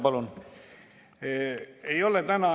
Palun!